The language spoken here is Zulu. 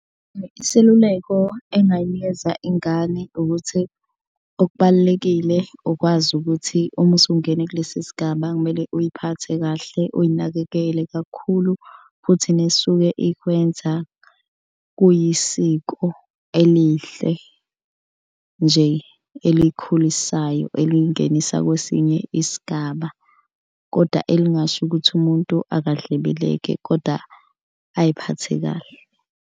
Iseluleko engayinikeza ingane ukuthi okubalulekile ukwazi ukuthi uma usungene kulesi sigaba kumele uy'phathe kahle. Uyinakekele kakhulu futhi nisuke ikwenza kuyisiko elihle nje elikhulisayo elingenisa kwesinye isigaba, koda elingasho ukuthi umuntu akadlebeleke koda ayiphathe kahle.